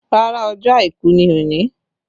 Rárá, ọjọ́ àìkú ni òní